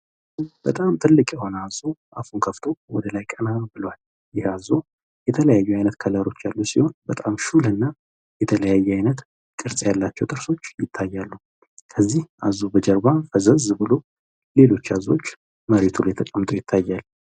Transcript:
በጣም ትልቅ የሆነ አዞ አፉን ከፍቶ ወደላይ ቀና ብሏል። ይህ አዞ የተለያዩ አይነት ከለሮች ያሉት ሲሆን በጣም ሹልና የተለያየ አይነት ቅርፅ ያላቸው ጥርሶች ይታያሉ። ከዚህ አዞ በጀርባ ፈዘዝ ብሎ ሌሎች አዞዎች መሬቱ ላይ ተቀምጠው ይታያል።